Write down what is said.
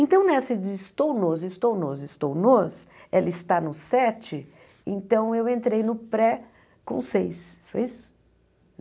Então, nessa de estou nos, estou nos, estou nos, ela está no sete, então eu entrei no pré com seis, foi isso?